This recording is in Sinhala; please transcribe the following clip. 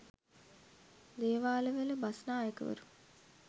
දේවාලවල බස්නායකවරුත්